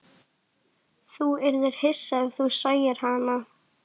Þú yrðir hissa ef þú sæir hana.